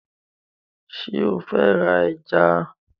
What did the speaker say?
Ṣé o fẹ́ ra ẹja?